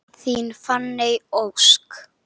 Þín Fanney Ósk.